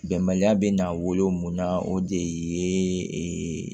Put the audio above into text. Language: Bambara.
Bɛnbaliya bɛ n'a wolo mun na o de ye ee